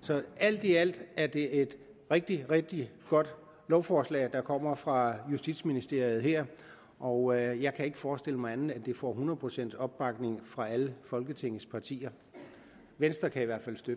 så alt i alt er det et rigtig rigtig godt lovforslag der kommer fra justitsministeriet her og jeg kan ikke forestille mig andet end at det får hundrede procent opbakning fra alle folketingets partier venstre kan i hvert fald støtte